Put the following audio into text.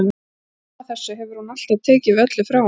Og fram að þessu hefur hún alltaf tekið við öllu frá honum.